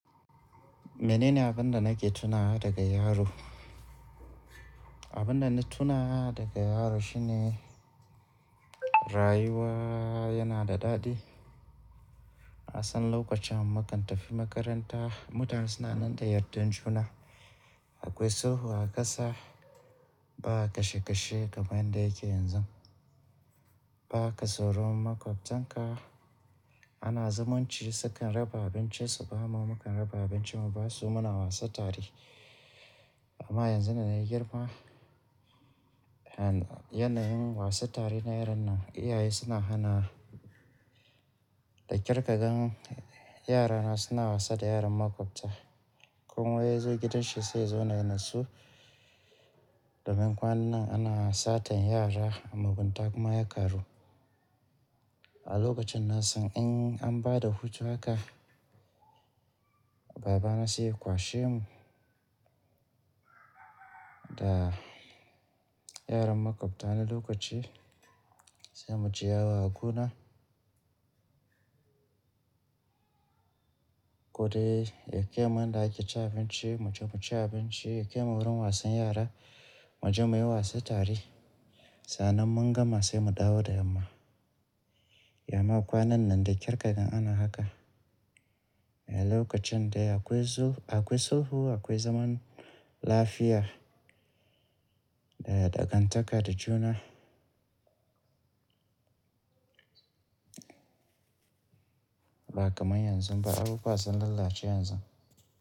Mene ne abin da nake tunawa daga yaro? Mene ne abun da nake tuna daga yaro? Abin da na tunawa daga yaro shine rayuwa yana da daɗi. Akwai sulhu a ƙasa, ba kashe kashe kamar yadda yake yanzu. Ba ka tsoron maƙwabtan ka. Ana zumunci, sukan raba abincin su, bamu mu kan raba abincin mu ba su muna wasa tare. Amma yanzu da na yi girma, yanayin wasa tare na yaran nan iyaye suna hana da ƙirƙagarn yara na suna wasa da yaran maƙwabta. Ko ya zo gidan shi sai ya zauna ya nasu. Domin kwanan nan ana satar yara amma mugunta kuma ya ƙaru. A lokacin na san in an bada hutu haka baba na zai kwashe mu da yaran makwabtana a lokaci sai mu je yawon gona ko dai yake mun daki ci abinci mu je mu ci abinci, yake mu wurin wasan yara mu je muyi wasa tare. Sannan mun gama sai mu dawo da yamma. Yamma kwanan nan da ƙirƙagarn ana haka. A lokacin dai akwai sulhu, akwai zaman lafiya da dagantaka da juna ba kamar yanzu ba. Abu ba zan lalace yanzu.